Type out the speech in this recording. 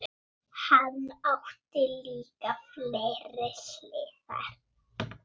Hann átti líka fleiri hliðar.